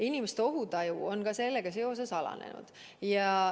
Inimeste ohutaju on sellega seoses alanenud.